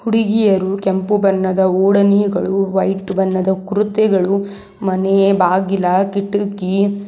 ಹುಡುಗಿಯರು ಕೆಂಪು ಬಣ್ಣದ ಊಡನಿಗಳು ವೈಟ್ ಬಣ್ಣದ ಕೂರುತೆಗಳು ಮನೆ ಬಾಗಿಲ ಕಿಟಕಿ--